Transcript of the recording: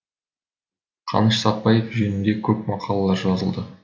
қаныш сәтбаев жөнінде көп мақалалар жазылды